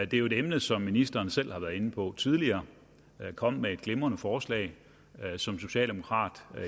det er jo et emne som ministeren selv har været inde på tidligere han kom med et glimrende forslag som socialdemokrat